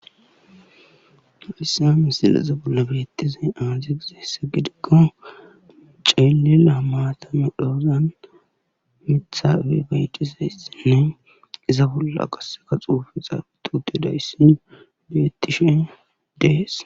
Haysa misileza bolla betizay aaze gizaysa gidikon cilila maata medhozan Mitha pudhoy dizaysinne iza bolla qaseka xuufey xaafeti utidays Des.